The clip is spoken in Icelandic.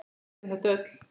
Við vitum þetta öll.